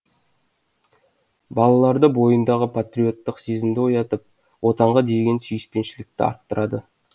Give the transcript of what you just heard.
балалардың бойындағы патриоттық сезімді оятып отанға деген сүйіспеншілікті арттырады